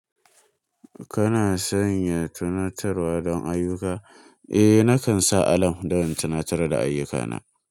Kana sanya tunatarwa don ayyuka? Eh, nakan sa alam don tunatar da ayyukana.